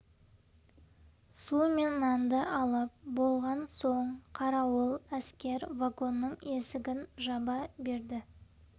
су мен нанды алып болған соң қарауыл әскер вагонның есігін жаба берді